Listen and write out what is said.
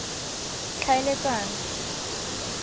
tlhaeletsano